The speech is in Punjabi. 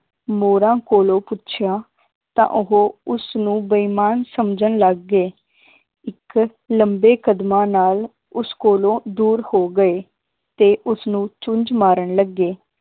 ਮੋਰਾਂ ਕੋਲੋਂ ਪੁੱਛਿਆ ਤਾਂ ਉਹ ਉਸਨੂੰ ਬੇਈਮਾਨ ਸਮਝਣ ਲੱਗ ਗਏ ਇੱਕ ਲੰਬੇ ਕਦਮਾਂ ਨਾਲ ਉਸ ਕੋਲੋਂ ਦੂਰ ਹੋ ਗਏ ਤੇ ਉਸਨੂੰ ਚੁੰਜ ਮਾਰਨ ਲੱਗੇ